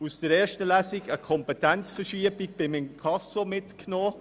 Aus der ersten Lesung haben wir eine Kompetenzverschiebung beim Inkasso mitgenommen.